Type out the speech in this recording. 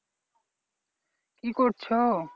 কি করছো?